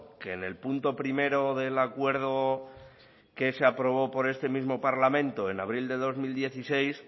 que en el punto primero del acuerdo que se aprobó por este mismo parlamento en abril del dos mil dieciséis